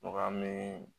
Mɔgɔ min